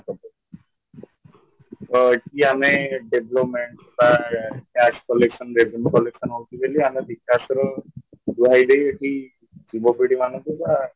ତ ଏଠି ଆମେ development ବା tax collection revenue collection ହଉଚି ବୋଲି ଆମେ ବିକାଶର ଏଠି ଯୁବପିଢ଼ି ମାନଙ୍କୁ ବା